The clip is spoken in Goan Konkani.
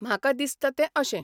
म्हाका दिसता तें अशें.